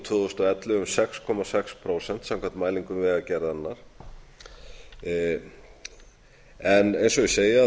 tvö þúsund og ellefu um sex komma sex prósent samkvæmt mælingum vegagerðarinnar en eins og ég segi